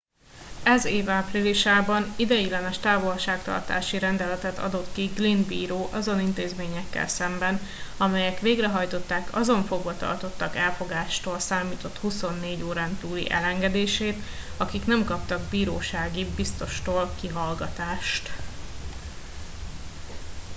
ez év áprilisában ideiglenes távolságtartási rendeletet adott ki glynn bíró azon intézményekkel szemben amelyek végrehajtották azon fogvatartottak elfogástól számított 24 órán túli elengedését akik nem kaptak birósági biztostól kihallgatást